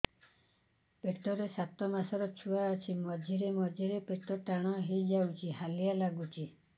ପେଟ ରେ ସାତମାସର ଛୁଆ ଅଛି ମଝିରେ ମଝିରେ ପେଟ ଟାଣ ହେଇଯାଉଚି ହାଲିଆ ଲାଗୁଚି